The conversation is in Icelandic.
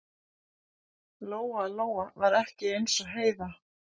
Lóa Lóa var ekki eins og Heiða